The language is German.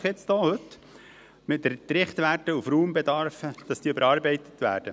Wir haben heute eine BaK-Motion überwiesen mit dem Ziel, dass die Richtwerte auf Raumbedarf überarbeitet werden.